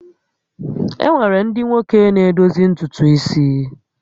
E nwere ndị nwoke na-edozi ntutu isi